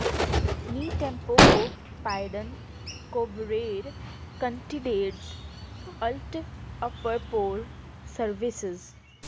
ਨੀ ਟੈਂਪੋਕੋ ਪਾਏਡਨ ਕੋਬਰੇਰ ਕੰਟੀਡੇਡਸ ਅਲਟ ਅਪਰ ਪੌਰ ਸਰਵਿਸਜ਼